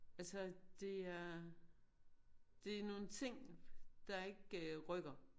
Altså det er det nogle ting der ikke øh rykker